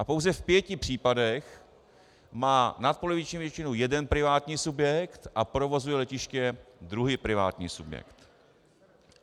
A pouze v pěti případech má nadpoloviční většinu jeden privátní subjekt a provozuje letiště druhý privátní subjekt.